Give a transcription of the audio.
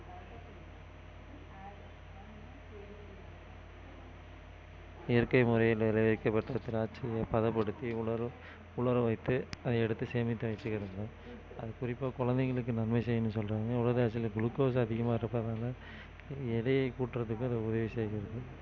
இயற்கை முறையில் விளைவிக்கப்பட்ட திராட்சையை பதப்படுத்தி உலர உலர வைத்து அதை எடுத்து சேமித்து வச்சிக்கிறாங்க அது குறிப்பா குழந்தைகளுக்கு நன்மை செய்யும்னு சொல்றாங்க உலர் திராட்சைல glucose அதிகமா இருப்பதனால எடையை கூட்டுறதுக்கு இது உதவி செய்கிறது